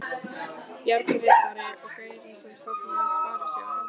Bjarni riddari og gaurinn sem stofnaði Sparisjóðinn.